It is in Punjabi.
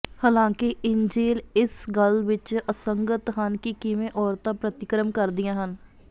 ਹਾਲਾਂਕਿ ਇੰਜੀਲ ਇਸ ਗੱਲ ਵਿਚ ਅਸੰਗਤ ਹਨ ਕਿ ਕਿਵੇਂ ਔਰਤਾਂ ਪ੍ਰਤੀਕਰਮ ਕਰਦੀਆਂ ਹਨ